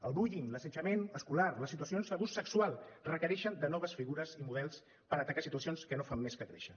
el bullying l’assetjament escolar les situacions d’abús sexual requereixen noves figures i models per atacar situacions que no fan més que créixer